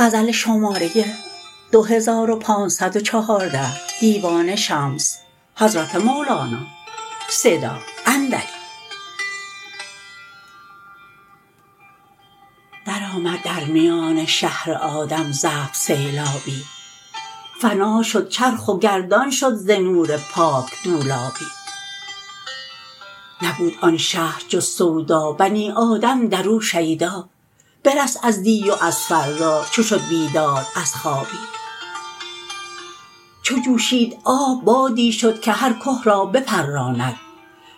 درآمد در میان شهر آدم زفت سیلابی فنا شد چرخ و گردان شد ز نور پاک دولابی نبود آن شهر جز سودا بنی آدم در او شیدا برست از دی و از فردا چو شد بیدار از خوابی چو جوشید آب بادی شد که هر که را بپراند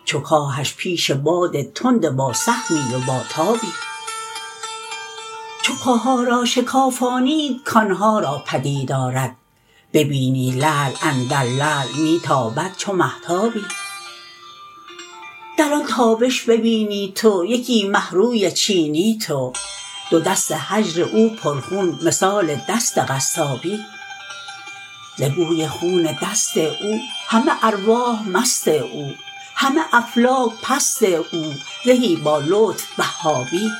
چو کاهش پیش باد تند باسهمی و باتابی چو که ها را شکافانید کان ها را پدید آرد ببینی لعل اندر لعل می تابد چو مهتابی در آن تابش ببینی تو یکی مه روی چینی تو دو دست هجر او پرخون مثال دست قصابی ز بوی خون دست او همه ارواح مست او همه افلاک پست او زهی بالطف وهابی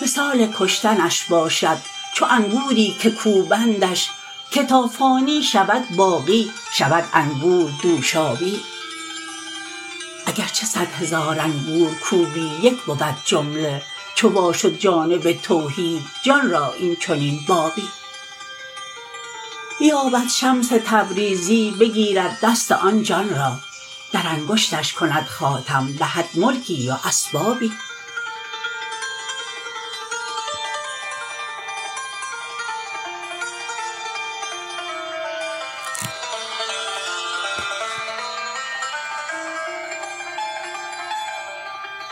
مثال کشتنش باشد چو انگوری که کوبندش که تا فانی شود باقی شود انگور دوشابی اگر چه صد هزار انگور کوبی یک بود جمله چو وا شد جانب توحید جان را این چنین بابی بیاید شمس تبریزی بگیرد دست آن جان را در انگشتش کند خاتم دهد ملکی و اسبابی